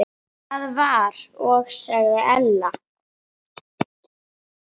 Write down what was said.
Það var og sagði Ella.